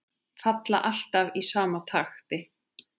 Falla alltaf í sama takti.